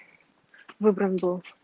выбран был